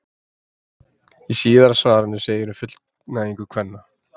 Í síðara svarinu segir um fullnægingu kvenna: